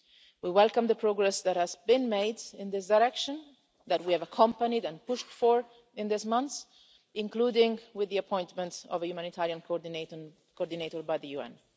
NGOs. We welcome the progress that has been made in this direction that we have accompanied and pushed for in these months, including with the appointment of a humanitarian coordinator by the